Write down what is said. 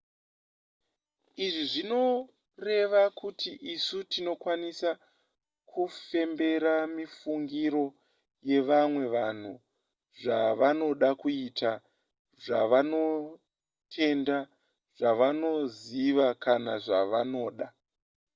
izvi zvinoreva kuti isu tinokwanisa kufembera mifungiro yevamwe vanhu zvavanoda kuita zvavanotenda zvavanoziva kana zvavanoda